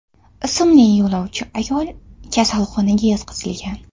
ismli yo‘lovchi ayol kasalxonaga yotqizilgan.